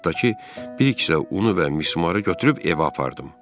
Qayıqdakı bir kisə unu və mismarı götürüb evə apardım.